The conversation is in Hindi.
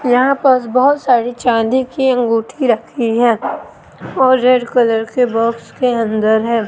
यहां पास बहोत सारी चांदी की अंगूठी रखी है और रेड कलर के बॉक्स के अंदर है।